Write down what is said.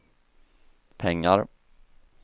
pengar